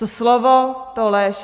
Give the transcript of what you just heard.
Co slovo, to lež.